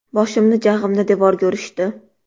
Boshimni, jag‘imni devorga urishdi”.